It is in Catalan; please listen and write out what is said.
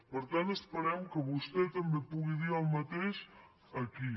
per tant esperem que vostè també pugui dir el mateix aquí